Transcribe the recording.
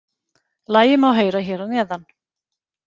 Lagið má heyra hér að neðan